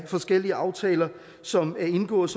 forskellige aftaler som er indgået